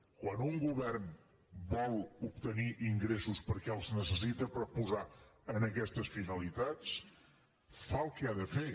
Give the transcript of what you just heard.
quan un govern vol obtenir ingressos perquè els ne·cessita per posar en aquestes finalitats fa el que ha de fer